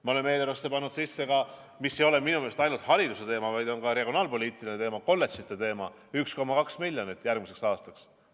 Me oleme eelarvesse pannud ka – see ei ole minu meelest ainult hariduse teema, vaid ka regionaalpoliitiline teema – kolledžite jaoks 1,2 miljonit järgmiseks aastaks.